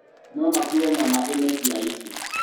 No makuue nyama imwe cia icio.